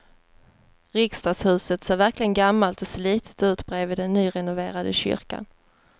Riksdagshuset ser verkligen gammalt och slitet ut bredvid den nyrenoverade kyrkan.